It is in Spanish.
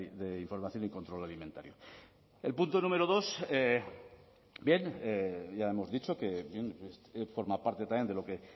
de información y control alimentario el punto número dos bien ya hemos dicho que forma parte también de lo que